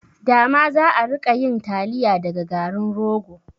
Dama za'a rika yin taliya daga garin rogo